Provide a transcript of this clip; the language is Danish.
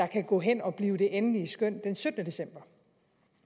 kan gå hen og blive det endelige skøn den syttende december